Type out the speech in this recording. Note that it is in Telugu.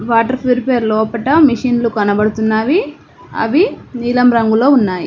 వాటర్ ప్యూరిఫైయర్ లోపట మెషిన్లు కనబడుతున్నవి అవి నీలం రంగులో ఉన్నాయి